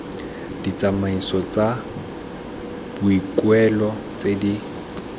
ditsamaiso tsa boikuelo tse di